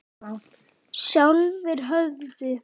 Sjálfir höfðu